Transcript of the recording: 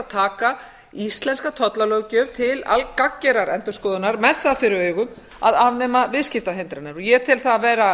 taka íslenska tollalöggjöf til gagngerrar endurskoðunar með það fyrir augum að afnema viðskiptahindranir og ég tel það vera